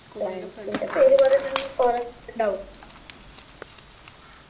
friends ൻ്റെ പേര് പറയാണെങ്കിൽ കുറെ ഉണ്ടാകും